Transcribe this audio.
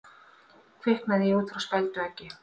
Kviknaði í út frá spældu eggi